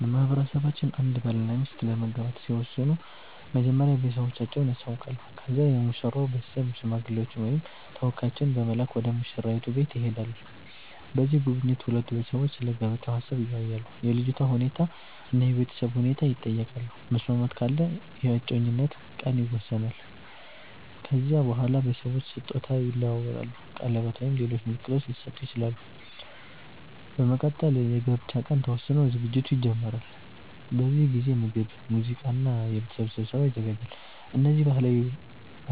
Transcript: በማህበረሰባችን አንድ ባልና ሚስት ለመጋባት ሲወስኑ መጀመሪያ ቤተሰቦቻቸውን ያሳውቃሉ። ከዚያ የሙሽራው ቤተሰብ ሽማግሌዎችን ወይም ተወካዮችን በመላክ ወደ ሙሽራይቱ ቤት ይሄዳሉ። በዚህ ጉብኝት ሁለቱ ቤተሰቦች ስለ ጋብቻ ሀሳብ ይወያያሉ፣ የልጅቷ ሁኔታ እና የቤተሰብ ሁኔታ ይጠየቃሉ። መስማማት ካለ የእጮኝነት ቀን ይወሰናል። ከዚያ በኋላ ቤተሰቦች ስጦታ ይለዋወጣሉ፣ ቀለበት ወይም ሌሎች ምልክቶች ሊሰጡ ይችላሉ። በመቀጠል የጋብቻ ቀን ተወስኖ ዝግጅት ይጀመራል። በዚህ ጊዜ ምግብ፣ ሙዚቃ እና የቤተሰብ ስብሰባ ይዘጋጃል። እነዚህ ባህላዊ